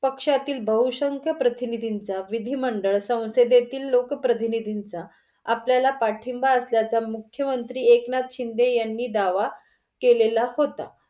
पक्षातील बहुसंख्य प्रतिनिधींचा विधी मंडळ सौंसधेतील लोक प्रतिनिधींचा आपल्याला पाठिंबा असल्याचा मुख्य मंत्री एकनाथ शिंदे यांनी दावा केलेला होता.